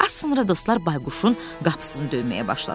Az sonra dostlar Bayquşun qapısını döyməyə başladılar.